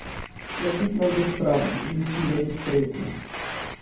Nakit naj bo skromen, ličilo diskretno.